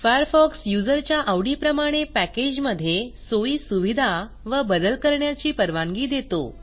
Firefox युजरच्या आवडीप्रमाणे पॅकेजमधे सोयी सुविधा व बदल करण्याची परवानगी देतो